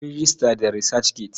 Ka yi rejista da Research Gate.